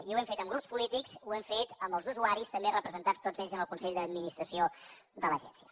i ho hem fet amb grups polítics ho hem fet amb els usuaris també representats tots ells en el consell d’administració de l’agència